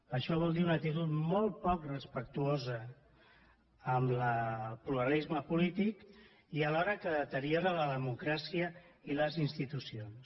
això vol dir una actitud molt poc respectuosa amb el pluralisme polític i que alhora deteriora la democràcia i les institucions